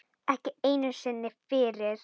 Ekki einu sinni fyrir